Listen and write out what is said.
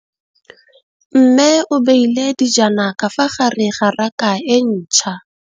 Mmê o beile dijana ka fa gare ga raka e ntšha.